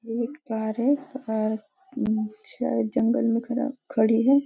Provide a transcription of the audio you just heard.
ये एक कार है कार अ शायद जंगल में खराब खड़ी है।